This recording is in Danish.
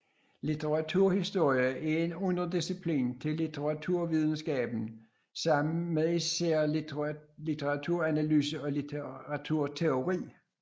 Litteraturhistorie er en underdisciplin til litteraturvidenskaben sammen med især litteraturanalyse og litteraturteori